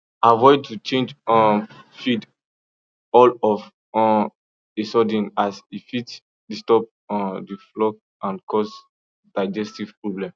avoid to change um feed all of um a sudden as e fit disturb um the flock and cause digestive problem